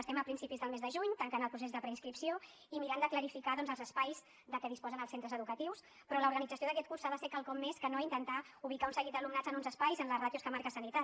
estem a principis del mes de juny tancant el procés de preinscripció i mirant de clarificar doncs els espais de què disposen els centres educatius però l’organització d’aquest curs ha de ser quelcom més que no intentar ubicar un seguit d’alumnat en uns espais amb les ràtios que marca sanitat